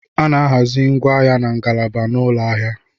A na-ahazi ngwaahịa na ngalaba n'ụlọ ahịa.